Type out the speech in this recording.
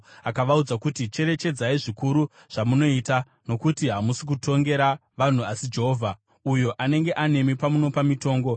Akavaudza kuti, “Cherechedzai zvikuru zvamunoita, nokuti hamusi kutongera vanhu asi Jehovha, uyo anenge anemi pamunopa mitongo.